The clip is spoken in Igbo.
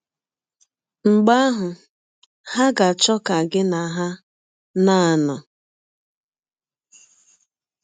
Mgbe ahụ, ha ga - achọ ka gị na ha na - anọ.